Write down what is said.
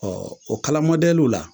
o kala mɔdɛliw la